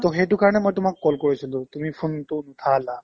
to সেইটো কাৰণে মই তোমাক call কৰিছিলো তুমি ফোনটো নুঠালা